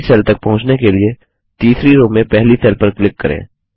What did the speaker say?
अगली सेल तक पहुँचने के लिए तीसरी रो में पहली सेल पर क्लिक करें